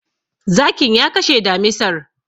Zakin ya kashe damisar.